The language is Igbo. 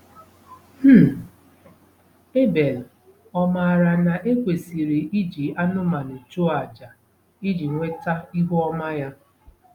um Ebel ọ̀ maara na e kwesịrị iji anụmanụ chụọ àjà iji nweta ihu ọma ya?